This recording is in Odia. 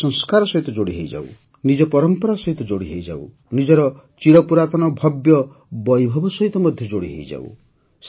ନିଜ ସଂସ୍କାର ସହିତ ଯୋଡ଼ି ହୋଇଯାଉ ନିଜ ପରମ୍ପରା ସହିତ ଯୋଡ଼ି ହୋଇଯାଉ ନିଜର ଚିରପୁରାତନ ଭବ୍ୟ ବୈଭବ ସହିତ ମଧ୍ୟ ଯୋଡ଼ି ହୋଇଯାଉ